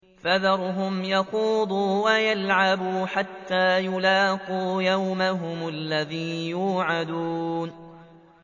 فَذَرْهُمْ يَخُوضُوا وَيَلْعَبُوا حَتَّىٰ يُلَاقُوا يَوْمَهُمُ الَّذِي يُوعَدُونَ